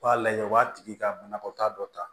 U b'a lajɛ u b'a tigi ka banakɔta dɔ ta